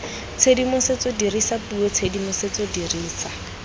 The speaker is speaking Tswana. tshedimosetso dirisa puo tshedimosetso dirisa